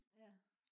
ja